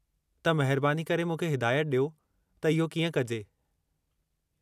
त, महिरबानी करे मूंखे हिदायत ॾियो त इहो कीअं कजे।